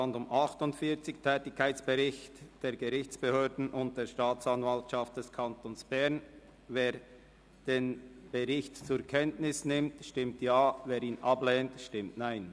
Wer den Bericht zur Kenntnis nimmt, stimmt Ja, wer dies ablehnt, stimmt Nein.